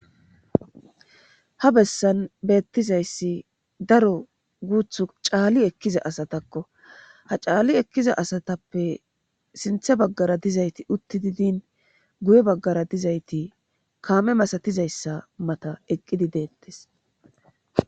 ha bessan beettizayssi daro guuthu caali ekkiza asatakko ha caalli ekkiza asatappe sinthe baggara dizayti utti didin guye baggara dizayti kaame masatizayssa mata eqqidi deettes